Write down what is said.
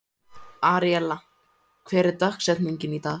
Aríella, hver er dagsetningin í dag?